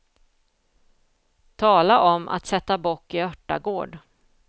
Tala om att sätta bock i örtagård.